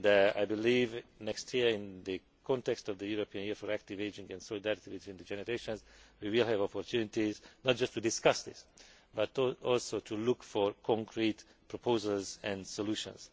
I believe that next year, in the context of the European Year for Active Ageing and Solidarity between Generations, we will have opportunities not just to discuss this but also to look for concrete proposals and solutions.